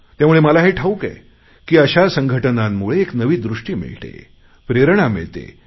त्यामुळे मला हे ठाऊक आहे की अशा संघटनांमुळे एक नवी दृष्टी मिळते प्रेरणा मिळते